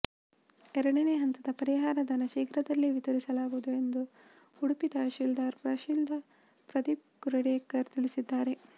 ಎರಡನೇ ಹಂತದ ಪರಿಹಾರಧನ ಶೀಘ್ರದಲ್ಲೇ ವಿತರಿಸಲಾಗುವುದು ಎಂದು ಉಡುಪಿ ತಹಶೀಲ್ದಾರ್ ಪ್ರದೀಪ್ ಕುರುಡೇಕರ್ ತಿಳಿಸಿದ್ದಾರೆ